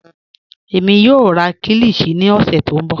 Ẹmi yọọ rà kílíshì ní ọ̀ṣẹ̀ tó nbọ.